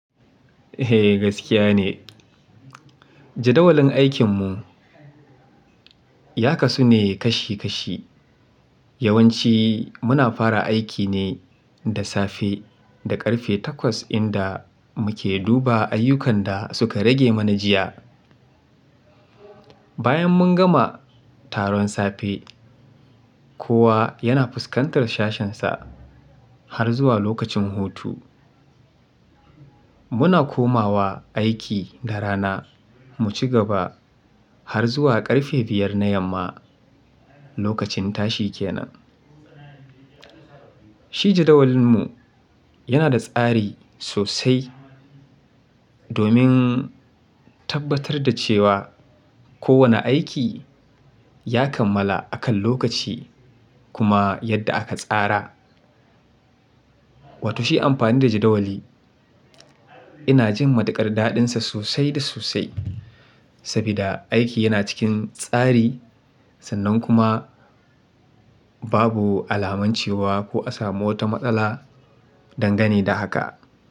Eh gaskiya ne. Jadawalin aikin mu ya kasu ne kashi kashi. Yawanci muna fara aiki ne da safe da ƙarfe takwas inda muke duba ayyukan da suka rage mana jiya. Bayan mun gama taron safe, kowa yana fuskantar shashensa har zuwa lokacin hutu. Muna komawa aiki da rana mu cigaba har zuwa ƙarfe biyar na yamma lokacin tashi kenan. Shi jadawalin mu yana da tsari sosai domin tabbatar da cewa kowane aiki ya kammala akan lokaci kuma yadda aka tsara. Wato shi amfani da jadawali ina jin matuƙar daɗinsa sosai da sosai sabida aiki yana cikin tsari sannan kuma babu alaman cewa ko a samu wata matsala dangane da haka.